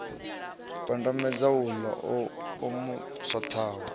pandamedza uḽa o mu swaṱaho